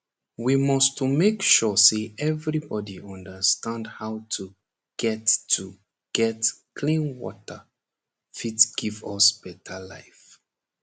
we must to make sure say everybodi understand how to get to get clean water fit give us beta life